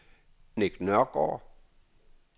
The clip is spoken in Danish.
Nick Nørgaard